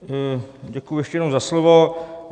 Děkuji ještě jednou za slovo.